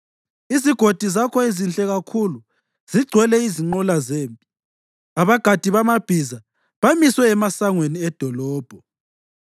Izigodi zakho ezinhle kakhulu zigcwele izinqola zempi, abagadi bamabhiza bamiswe emasangweni edolobho.